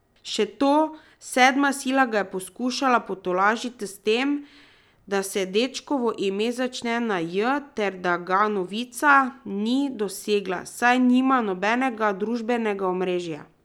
Še to, sedma sila ga je poskušala potolažiti s tem, da se dečkovo ime začne na J ter da ga novica ni dosegla, saj nima nobenega družbenega omrežja.